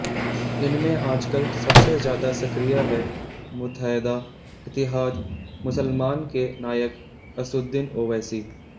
इनमें आजकल सबसे ज्यादा सक्रिय है मुतैहदा इतिहाद मुसलमान के नायक असुद्दीन ओवैसी